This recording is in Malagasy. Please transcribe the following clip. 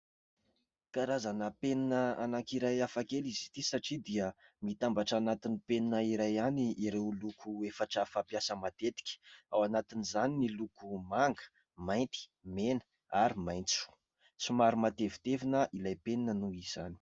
Karazana penina anankiray hafakely izy ity satria dia mitambatra anatin'ny penina iray ihany ireo loko efatra fampiasa matetika ; ao anatin'izany ny loko manga, mainty, mena ary maitso. Somary matevitevina ilay penina noho izany.